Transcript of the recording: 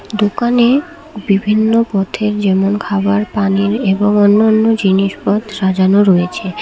দোকানে বিভিন্ন পথের যেমন খাবার পানির এবং অন্যান্য জিনিসপত সাজানো রয়েছে।